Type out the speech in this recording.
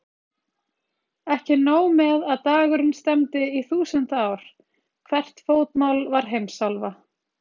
Ekki nóg með að dagurinn stefndi í þúsund ár, hvert fótmál var heimsálfa.